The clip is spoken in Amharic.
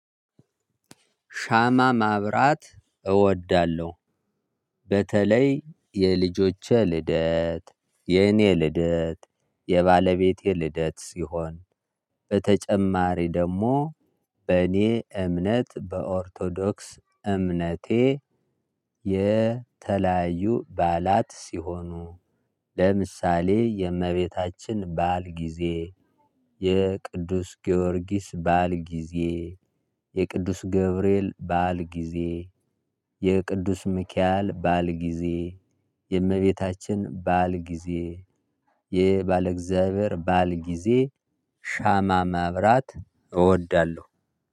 ሻማ ማብራት እወዳለሁ። በተለይ የልጆች ልደት የኔ ልደት የባለቤቴ ልደት ሲሆን በተጨማሪ ደግሞ በእኔ እምነት በኦርቶዶክስ እምነቴ የተለያዩ ባላት ሲሆኑ ለምሳሌ የእመቤታችን ባእል ጊዜ የቅዱስ ጊዮርጊስ ባእል ጊዜ የቅዱስ ገብርኤል ባእል ጊዜ የቅዱስ ሚኪያል ባእል ጊዜ የእመቤታችን ባእል ጊዜ የባለ እግዚአብሔር ባእል ጊዜ ሻማ ማብራት እወዳለሁ።